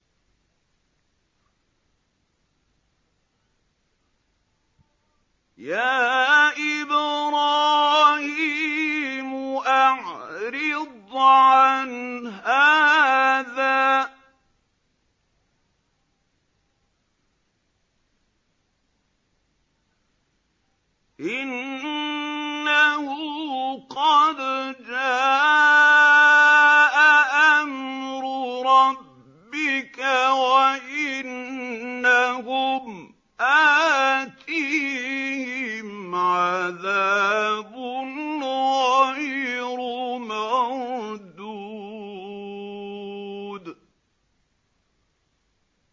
يَا إِبْرَاهِيمُ أَعْرِضْ عَنْ هَٰذَا ۖ إِنَّهُ قَدْ جَاءَ أَمْرُ رَبِّكَ ۖ وَإِنَّهُمْ آتِيهِمْ عَذَابٌ غَيْرُ مَرْدُودٍ